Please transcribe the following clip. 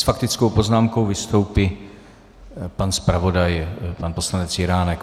S faktickou poznámkou vystoupí pan zpravodaj pan poslanec Jiránek.